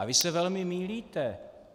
A vy se velmi mýlíte.